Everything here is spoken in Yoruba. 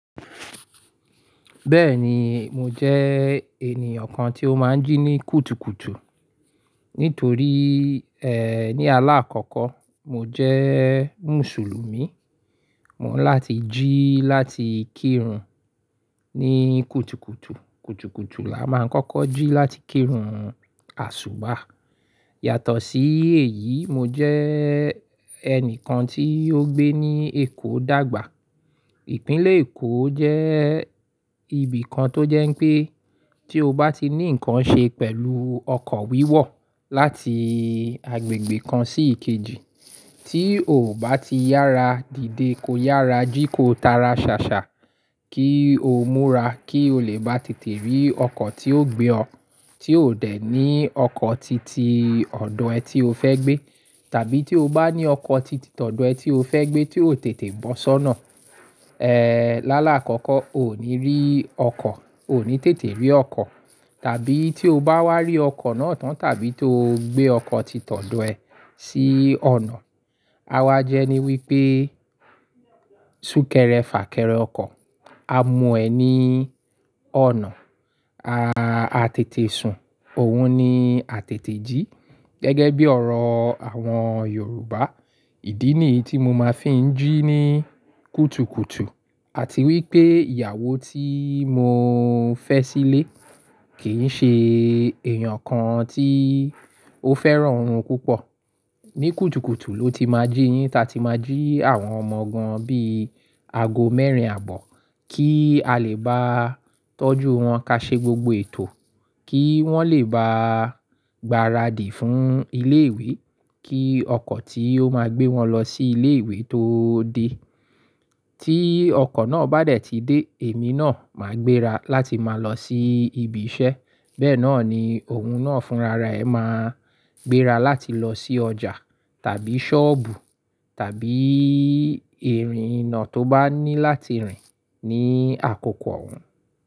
Bẹ́ẹ̀ni, mo jẹ́ ènìyàn kan tí ó máa ń jí ní kùtùkùtù. Nítorí, ẹ́, ní alaakọkọ, mo jẹ Musulumi, mò ń láti jí láti kírun ní kùtùkùtù. Kùtùkùtù la máa ń kọ́kọ́ jí láti kírun àsùbà. Yàtọ̀ sí èyí, mo jẹ́ ẹnìkan tí ó gbé ní Èkó dàgbà. Ìpínlẹ̀ Èkó jẹ́ ibìkan tó jẹ́ pé tí o bá ti ní ǹkan ṣe pẹ̀lú ọkọ̀ wíwọ̀ láti agbègbè kan sí ìkejì, tí ò bá ti yára dìde ko yára jí ko tara ṣàṣà kí o múra kí o lè bá tètè rí ọkọ̀ tí yóò gbé ọ. Tí o dẹ̀ ní ọkọ̀ titi ọ̀dọ̀ ẹ tí o fẹ́ gbé, tàbí tí o bá ní ọkọ̀ titi ọ̀dọ̀ ẹ tí o fẹ́ gbé tí o tètè bọ́ sọ́nà. Ẹ́, lálá àkọ́kọ́, o ò ní rí ọkọ̀, o ò ní tètè rí ọkọ̀. Tàbí tí o bá wá rí ọkọ̀ náà tán tàbí tó gbé ọkọ̀ títọ̀dọ̀ ẹ sí ọ̀nà, àwa jẹ́ ní wípé sún kẹrẹ fà kẹrẹ ọkọ̀, a mu ẹ ní ọ̀nà, a, a tètè sùn, òun ni a tètè jí. Gẹ́gẹ́ bí ọ̀rọ̀ àwọn Yorùbá, ìdí nìyí tí mo máa fi ń jí ní kùtùkùtù. Àti wípé ìyàwó tí mo fẹ́ sílé kì í ṣe èèyàn kan tí ó fẹ́ràn orun púpọ̀. Ní kùtùkùtù ló ti máa jí yín, táa ti máa jí àwọn ọmọ gan bí ago mẹ́rin àbọ̀ kí á lè bá tọ́jú wọn ká ṣe gbogbo ètò, kí wọ́n lè bá gbáradì fún ilé ìwé, kí ọkọ̀ tí ó máa gbé wọn lọ sí ilé ìwé tó dé. Tí ọkọ̀ náà bá dẹ̀ ti dé, èmi náà máa gbéra láti máa lọ sí ibi iṣẹ́. Bẹ́ẹ̀ náà ni òun náà fúnra ra ẹ máa gbéra láti lọ sí ọjà tàbí ṣọ́ọ̀bù tàbí ìrìn iná tó bá ní láti rìn ní àkókò òun.